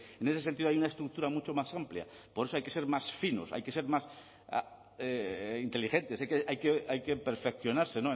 en ese sentido hay una estructura mucho más amplia por eso hay que ser más finos hay que ser más inteligentes hay que perfeccionarse